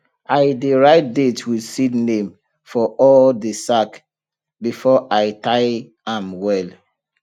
i dey write date with seed name for all the sack before i tie am well